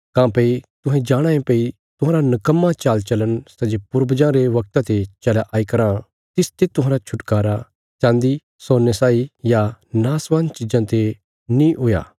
काँह्भई तुहें जाणाँ ये भई तुहांरा निकम्मा चालचलन सै जे पूर्वजां रे वगता ते चलया आई कराँ तिसते तुहांरा छुटकारा चान्दी सोने साई या नाशवान चिज़ां ते नीं हुई